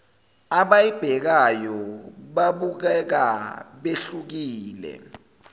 abayibhekayo babukeka behlukile